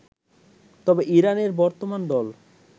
তবে ইরানের বর্তমান দল